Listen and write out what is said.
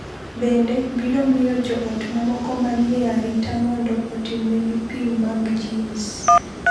Bende, biro miyo jo ot mamoko ma ni e arita mondo otimnegi pim mag genes.